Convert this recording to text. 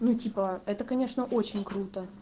ну типа это конечно очень круто